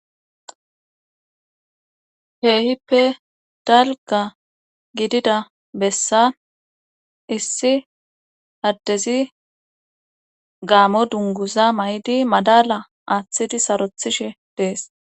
Keehippe dalga gidida bessa issi addezi gaamo dunguza may7di madala aaththidi sarothishe dees